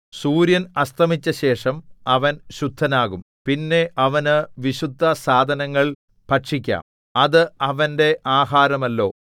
സൂര്യൻ അസ്തമിച്ചശേഷം അവൻ ശുദ്ധനാകും പിന്നെ അവനു വിശുദ്ധസാധനങ്ങൾ ഭക്ഷിക്കാം അത് അവന്റെ ആഹാരമല്ലോ